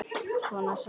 Svona sagði hún það.